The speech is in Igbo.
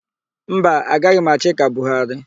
Mba, agaghị m achị ka Buharị.